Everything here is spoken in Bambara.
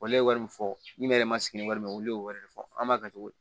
Wale wari min fɔ ni ne yɛrɛ ma sigi ni wɛrɛ mɛn olu y'o wɛrɛ de fɔ an b'a kɛ cogo di